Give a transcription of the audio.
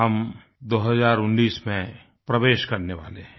हम 2019 में प्रवेश करने वाले हैं